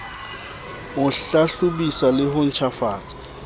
ho hlahlobisa le ho ntjhafatsa